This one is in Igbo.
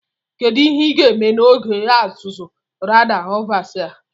Kedu ihe ga-eme n'oge ọzụzụ Radar Observer?